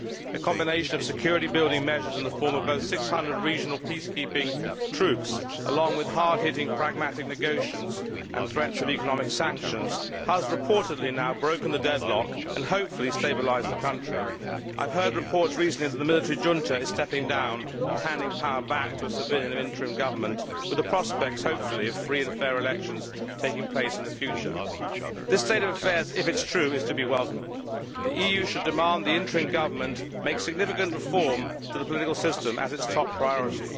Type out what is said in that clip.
A combination of security building measures, involving 600 regional peacekeeping troops, and hard hitting pragmatic negotiations with threats of economic sanctions, has reportedly now broken the deadlock, and hopefully stabilised the country. I have heard reports recently that the military junta is stepping down and handing power back to a civilian and interim government, with the prospect of free and fair elections taking place in the future. This state of affairs, if it is true, is to be welcomed. The EU should demand that the interim government make significant reform of the political system its top priority.